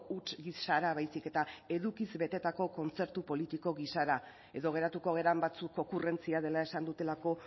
huts gisara baizik eta edukiz betetako kontzertu politiko gisara edo geratuko garen batzuk okurrentzia dela esan dutelako